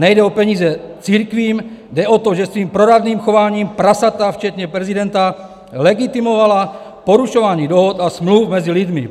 Nejde o peníze církvím, jde o to, že svým proradným chováním prasata, včetně prezidenta, legitimovala porušování dohod a smluv mezi lidmi.